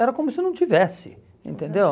Era como se não tivesse, entendeu?